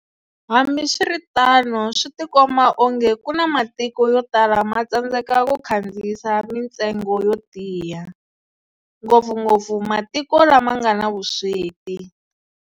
Hambiswiritano, switikomba onge ku na matiko yo tala ma tsandzeka ku kandziyisa mintsengo yo tiya, ngopfungopfu matiko lama ngana vusweti.